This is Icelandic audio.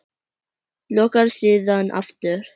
Lokar síðan aftur.